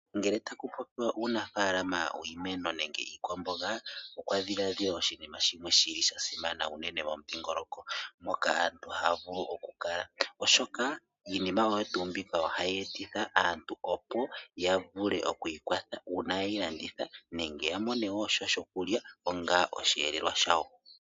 Ngele taku popiwa uunafalama wiimeno nenge iikwamboga okwadhiladhilwa oshinima shili shasimana noonkondo momudhingoloko, oshoka iinima oyo tuu mbika ohayi etitha aantu yavule oku ikwatha uuna ye yi landitha, nenge ya mone mo sha shokulya onga osheelelwa shawo.